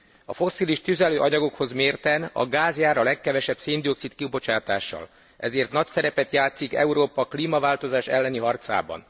A fosszilis tüzelőanyagokhoz mérten a gáz jár a legkevesebb széndioxid kibocsátással, ezért nagy szerepet játszik Európa klímaváltozás elleni harcában.